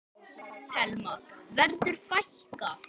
Telma: Verður fækkað?